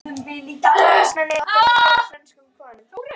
Fransmenn mega okkar vegna kála frönskum konum.